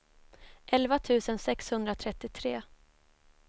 elva tusen sexhundratrettiotre